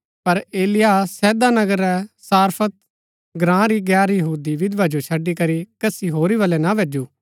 पर एलिय्याह सैदा नगरा रै सारफत ग्राँ री गैर यहूदी विधवा जो छड़ी करी कसी होरी बलै ना भैजू